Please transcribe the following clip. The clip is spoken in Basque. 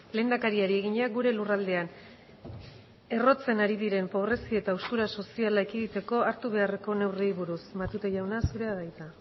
lehendakariari egina gure lurraldean errotzen ari diren pobrezia eta haustura soziala ekiditeko hartu beharreko neurriei buruz matute jauna zurea da hitza